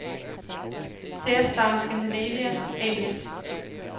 Cerestar Scandinavia A/S